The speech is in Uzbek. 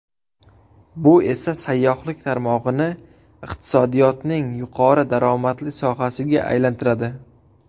Bu esa sayyohlik tarmog‘ini iqtisodiyotning yuqori daromadli sohasiga aylantiradi.